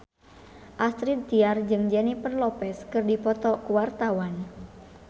Astrid Tiar jeung Jennifer Lopez keur dipoto ku wartawan